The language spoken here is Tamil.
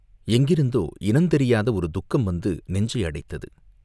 எங்கிருந்தோ இனந் தெரியாத ஒரு துக்கம் வந்து நெஞ்சை அடைத்தது.